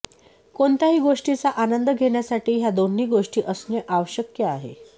कोणत्याही गोष्टीचा आनंद घेण्यासाठी ह्या दोन्ही गोष्टी असणे आवश्यक आहे